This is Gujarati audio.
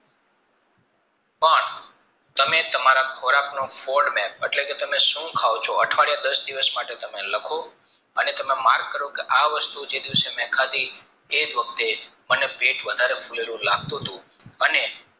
તમે તમારા ખોરાકનો folt map એટલે કે તમે સુ ખાવ ચો અઠવાડિયા દસ દિવસ માટે તમે લખો અને તમે mark કરો કે આ વસ્તુ જે દિવસે મેં ખાધી એજ વખતે મને પેટ વધારે ફુલેલું લાગતું હતું અને